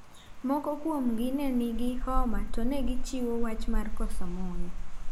Moko kuom gi ne nigi homa to negichiwo wach mar koso muya.